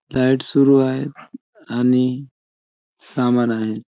Light सुरू आहे आणि सामान आहे.